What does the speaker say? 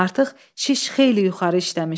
Artıq şiş xeyli yuxarı işləmişdi.